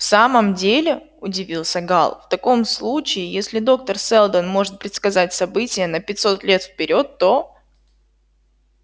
в самом деле удивился гаал в таком случае если доктор сэлдон может предсказать события на пятьсот лет вперёд то